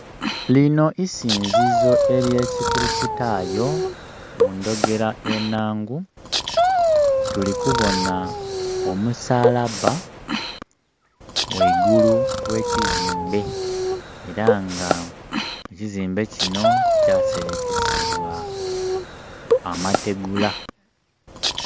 Lino isinzizo erye kikulistayo mudhogera enhangu. Tuli kubona omussalabba ghaigulu ghekizimbe era nga ekizimbe kino kyaserekesebwa amategula.